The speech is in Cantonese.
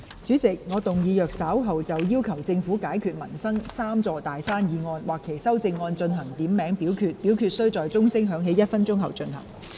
主席，我動議若稍後就"要求政府解決民生'三座大山'"所提出的議案或其修正案進行點名表決，表決須在鐘聲響起1分鐘後進行。